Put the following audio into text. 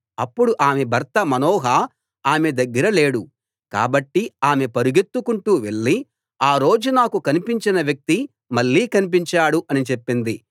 అప్పుడు ఆమె భర్త మనోహ ఆమె దగ్గర లేడు కాబట్టి ఆమె పరుగెత్తుకుంటూ వెళ్లి ఆ రోజు నాకు కన్పించిన వ్యక్తి మళ్ళీ కన్పించాడు అని చెప్పింది